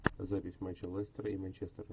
запись матча лестера и манчестера